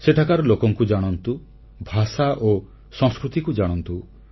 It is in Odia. ସେଠାକାର ଲୋକଙ୍କୁ ଜାଣନ୍ତୁ ଭାଷା ଓ ସଂସ୍କୃତିକୁ ଜାଣନ୍ତୁ